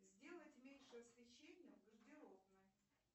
сделать меньше освещение в гардеробной